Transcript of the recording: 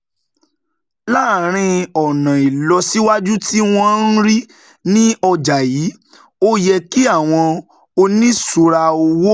Láàárín ọ̀nà ìlọsíwájú tí wọ́n ń rí ní ọjà yìí, ó yẹ kí àwọn oníṣura owó